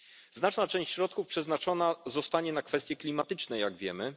Znaczna część środków przeznaczona zostanie na kwestie klimatyczne, jak wiemy.